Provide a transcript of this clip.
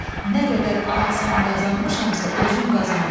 Nə qədər ad-san qazanmışamsa, özüm qazanmışam.